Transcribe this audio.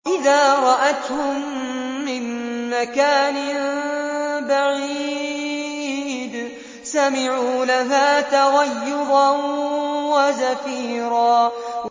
إِذَا رَأَتْهُم مِّن مَّكَانٍ بَعِيدٍ سَمِعُوا لَهَا تَغَيُّظًا وَزَفِيرًا